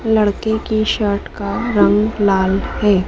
लड़के की शर्ट का रंग लाल है।